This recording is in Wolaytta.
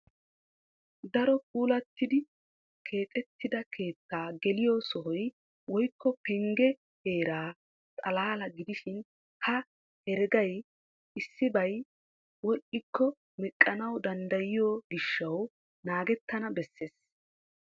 Daro puulattidi keexettida keettaa geliyo sohoy woyikko penggee hereha xalaala gidishi ha heregay issibay wodhdhikko meqqanawu dandayiyo gishshawu naagettana besses.